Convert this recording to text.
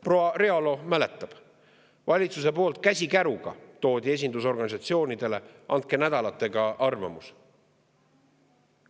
Proua Realo mäletab, et valitsuse poolt toodi see käsikäruga esindusorganisatsioonidele: "Andke nädalaga arvamus!